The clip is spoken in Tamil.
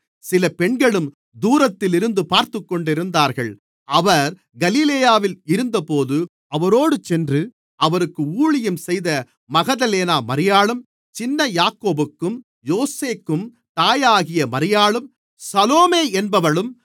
சில பெண்களும் தூரத்திலிருந்து பார்த்துக்கொண்டிருந்தார்கள் அவர் கலிலேயாவில் இருந்தபோது அவரோடு சென்று அவருக்கு ஊழியம் செய்த மகதலேனா மரியாளும் சின்ன யாக்கோபுக்கும் யோசேக்கும் தாயாகிய மரியாளும் சலோமே என்பவளும்